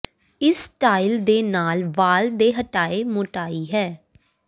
ਇਸ ਸਟਾਈਲ ਦੇ ਨਾਲ ਵਾਲ ਦੇ ਹਟਾਏ ਮੋਟਾਈ ਹੈ